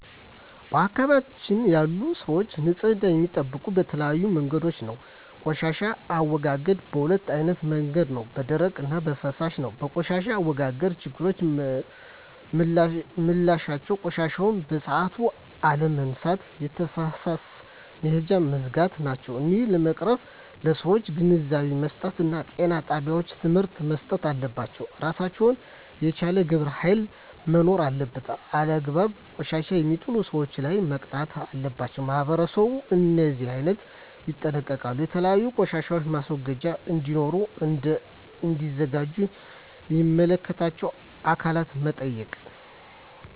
በአካባቢያችን ያሉ ሰዎች ንፅህና የሚጠብቁ በተለያዩ መንገዶች ነው ቆሻሻ አወጋገዳቸዉ በ2አይነት መንገድ ነው በደረቅ እና በፍሳሽ ነው በቆሻሻ አወጋገድ ችግሮች ምላቸው ቆሻሻዎችን በሠአቱ አለመነሳት የተፋሰስ መሄጃውች መዝጋት ናቸው እሄን ለመቅረፍ ለሠዎች ግንዛቤ መስጠት እና ጤና ጣቤዎች ትምህርቶች መሰጠት አለባቸው እራሱን የቻለ ግብረ ሀይል መኖር አለበት አላግባብ ቆሻሻ የሜጥሉ ሠዎች ላይ መቅጣት አለባቸው ማህበረሠቡ እሄን አይነቶ ይጠነቀቃሉ የተለያዩ ቆሻሻ ማስወገጃ እዴኖሩ እና እዲዘጋጁ ሚመለከታቸው አካላት መጠየቅ